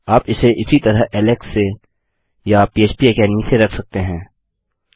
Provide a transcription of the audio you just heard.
आप इसे इसी तरह ऐलेक्स से या फ्पेकेडमी से रख सकते हैं